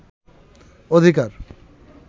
অধিকার